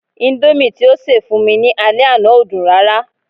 Indomie ti o ṣe fún mi ni ale àná o dun rara